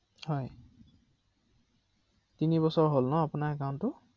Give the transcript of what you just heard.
অ অ